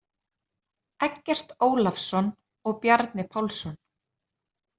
Eggert Ólafsson og Bjarni Pálsson.